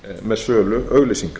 með sölu auglýsinga